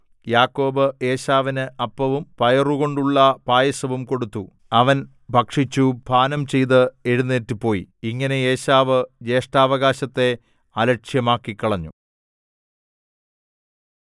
യാക്കോബ് ഏശാവിന് അപ്പവും പയറുകൊണ്ടുള്ള പായസവും കൊടുത്തു അവൻ ഭക്ഷിച്ചു പാനംചെയ്ത് എഴുന്നേറ്റുപോയി ഇങ്ങനെ ഏശാവ് ജ്യേഷ്ഠാവകാശത്തെ അലക്ഷ്യമാക്കിക്കളഞ്ഞു